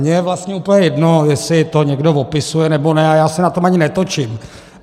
Mně je vlastně úplně jedno, jestli to někdo opisuje, nebo ne, a já se na tom ani netočím.